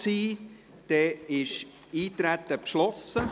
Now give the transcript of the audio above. dann ist das Eintreten beschlossen.